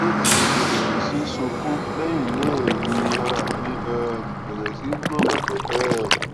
lójijì mo bẹrẹ sí sunkún lẹyìn náà ni ara mí um bẹrẹ sí ní gbọn pẹpẹ um